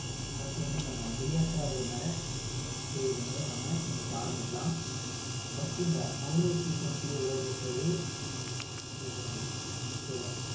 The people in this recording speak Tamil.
first வந்து நம்ம விளையாட்டா இருக்கிறதுனால விளையாட்டு செய்திகள்ல இருந்தே இன்னைக்கு ஆரம்பிக்கலாம் ஆஹ் first இந்த மகளிர் T twenty உலக கோப்பையை வென்றது ஆஸ்திரேலியா அணி okay வா